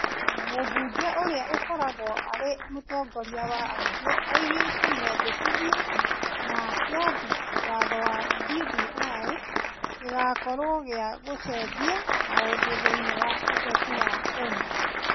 Mũmbuge ũria ũkoragwo arĩ mũtongoria wa aingĩ oigire mendekithia ma kĩambi watho kĩa BBI gĩgũkorũo gĩa gũcenjia maũndũ thĩinĩ wa ũteti wa Kenya.